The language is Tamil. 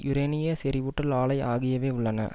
யுரேனிய செறிவூட்டல் ஆலை ஆகியவை உள்ளன